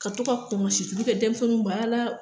Ka to ka kɔmɔn situlu kɛ denmisɛnninw bara la.